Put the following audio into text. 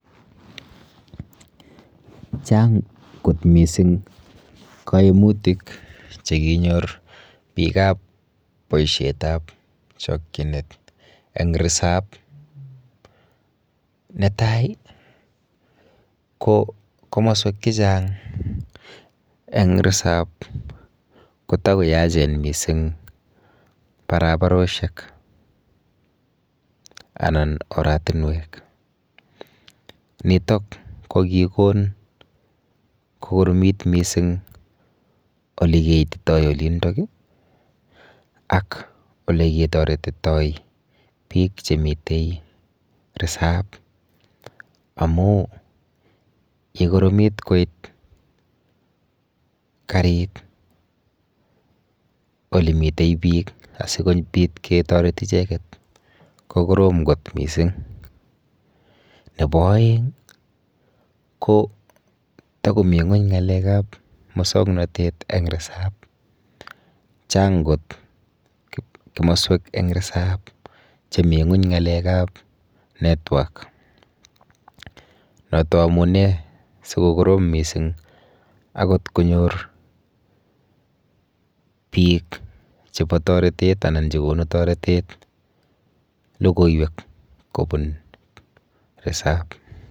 Chang kot missing' koimutik chekinyor biik ap boishet ap chokchinet eng risap netai ko komoswek chechang' eng' resap kotakoyachen mising' barabaroshek anan oratunwek nitok ko kikon kokoromit mising' olikiititoi olindok ak ole kitoretitoi biik chemitei risup amu kokoromit koit karit olemitei biik asikopit ketoret icheket ko korom kot mising' nebo oeng' ko tokomi ng'weny ng'alek ap musongnotet eng resup chang kot komoswek eng' resup chemi ng'weny ng'alek ap network noto amune sikokorim mising' akot konyor biik chebo toretet anan chekonu toretet lokoiwek kopun resup.